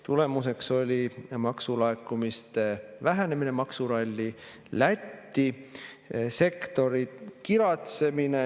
Tulemuseks oli maksulaekumiste vähenemine, maksuralli Lätti, sektori kiratsemine.